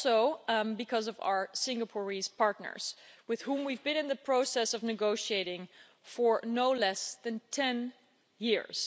I'm glad, too, for our Singaporean partners, with whom we've been in the process of negotiating for no less than ten years.